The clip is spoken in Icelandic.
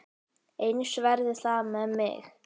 Eins verði það með mig.